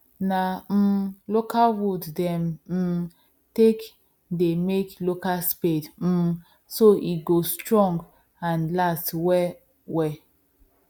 na um local wood them um take they make local spade um so e go strong and last well well